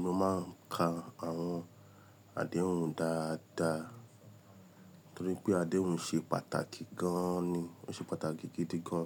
Mo máa ń ka àwọn àdéhùn dáadáa torí pé àdéhùn ṣe pàtàkì gan an ni. Ó ṣe pàtàkì gidi gan